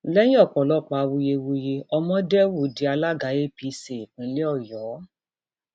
lẹyìn ọpọlọpọ awuyewuye ọmọdéwu di alága apc ìpínlẹ ọyọ